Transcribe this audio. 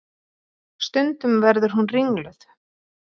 Stundum verður hún ringluð.